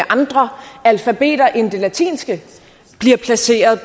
andre alfabeter end det latinske bliver placeret